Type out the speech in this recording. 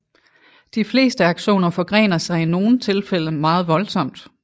De fleste aksoner forgrener sig i nogle tilfælde meget voldsomt